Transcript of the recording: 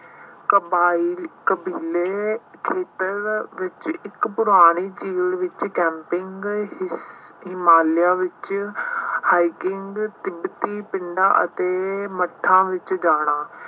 ਕਬਾਇਲ ਕਬੀਲੇ ਖੇਤਰ ਵਿੱਚ ਇੱਕ ਪੁਰਾਣੀ field ਵਿੱਚ camping ਗਏ ਸੀ। ਹਿਮਾਲਿਆ ਵਿੱਚ hiking ਤਿੱਬਤੀ ਪਿੰਡਾਂ ਅਤੇ ਮੱਠਾਂ ਵਿੱਚ ਜਾਣਾ।